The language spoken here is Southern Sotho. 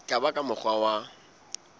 ka ba ka mokgwa wa